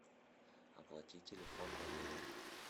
оплати телефон валерия